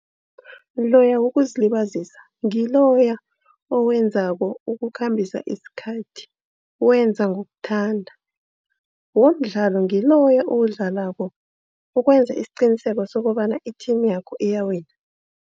Loya wokuzilibazisa ngiloya owenzako ukukhambisa isikhathi. Wenza ngokuthanda, womdlalo ngiloya owudlalako ukwenza isiqiniseko sokobana i-team yakho iyawina.